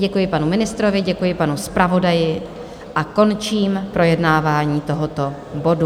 Děkuji panu ministrovi, děkuji panu zpravodaji a končím projednávání tohoto bodu.